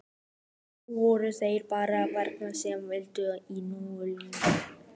Nú voru það bara vélarnar sem héldu í honum lífinu.